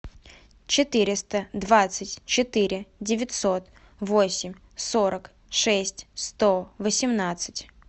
четыреста двадцать четыре девятьсот восемь сорок шесть сто восемнадцать